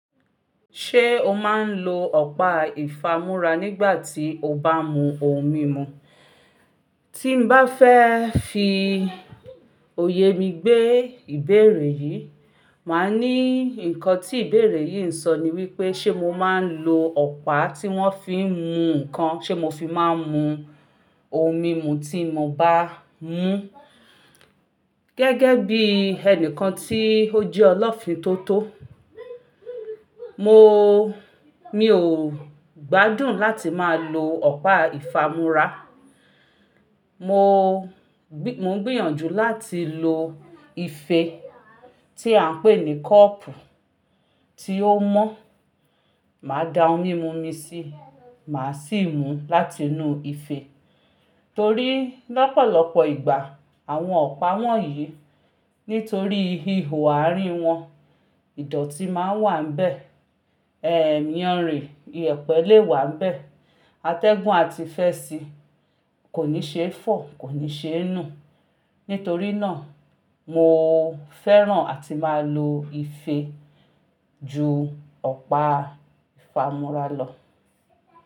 Ṣé o máa ń lo ọ̀pá ìfámúrá nígbà tí o bá mú ohun mímu? Tí n bá fẹ́ fi òye mi gbé ìbéèrè yìí, màá ní nǹkan tí ìbéèrè yìí ń sọ ni wípé, ṣe mo máa ń lo ọ̀pá tí wón fi ń mú nǹkan ṣe mo fi máa ń mú ohun mímu tí mo bá mú. Gẹ́gẹ́ bí ẹni kan tí ó jẹ́ ọlọ́fin tó tó, mo, mi ò gbádùn láti máa lo ọ̀pá ìfámúrá. Mo, mo ń gbìyànjú láti lo ife tí à ń pè ní kọ́ọ̀pù tí ó mọ́. Màá da ohun mímu mi sí, màá sì mú láti inú ife. Torí lọ́pọ̀lọpọ̀ ìgbà àwọn ọ̀pá wọ̀nyí, nítorí ihò àárín wọn, ìdọ̀tí máa ń wà ńbẹ. Ẹ̀míyanrìn, ìyẹ̀pẹ̀ lè wà ńbẹ. Atẹ́gùn àti fẹ́ẹ̀sì kò ní ṣe é fọ̀, kò ní ṣe é nù. Nítorí náà mo fẹ́ràn àti máa lo ife ju ọ̀pá ìfámúrá lọ.